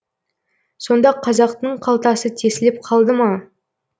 сонда қазақтың қалтасы тесіліп қалды ма